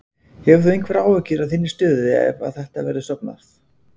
Hefur þú einhverjar áhyggjur af þinni stöðu ef að þetta verður stofnað?